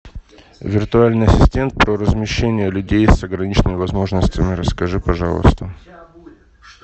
виртуальный ассистент про размещение людей с ограниченными возможностями расскажи пожалуйста